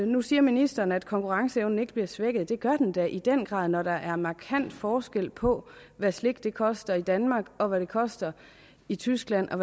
nu siger ministeren at konkurrenceevnen ikke bliver svækket men det gør den da i den grad når der er markant forskel på hvad slik koster i danmark og hvad det koster i tyskland og